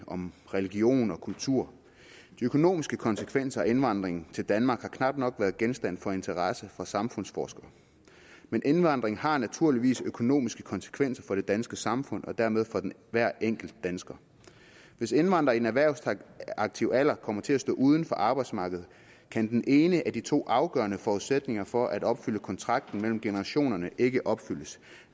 om religion og kultur de økonomiske konsekvenser af indvandringen til danmark har knap nok været genstand for interesse fra samfundsforskere men indvandring har naturligvis økonomiske konsekvenser for det danske samfund og dermed for hver enkelt dansker hvis indvandrere i den erhvervsaktive alder kommer til at stå uden for arbejdsmarkedet kan den ene af de to afgørende forudsætninger for at opfylde kontrakten mellem generationerne ikke opfyldes